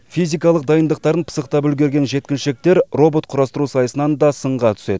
физикалық дайындықтарын пысықтап үлгерген жеткіншектер робот құрастыру сайысынан да сынға түседі